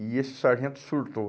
E esse sargento surtou.